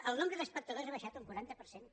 el nombre d’espectadors ha baixat un quaranta per cent